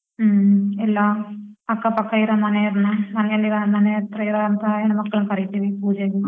ಹ್ಮ್ ಇನ್ನೂ ಅಕ್ಕಾಪಕ್ಕ ಇರೋ ಮನೆಯೋರ್ನ ಮನೆಯಲ್ಲಿರೋ ಮನೆ ಹತ್ರ ಇರೋಂಥ ಹೆಣ್ ಮಕ್ಳನ್ನ ಕರಿತಿವಿ ಪೂಜೆಗೆ.